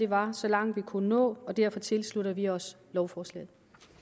var så langt vi kunne nå og derfor tilslutter vi os lovforslaget